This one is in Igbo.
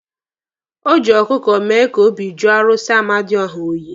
O ji ọkụkụ mee ka obi jụọ arụsị amadioha oyi.